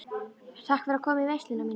Takk fyrir að koma í veisluna mína.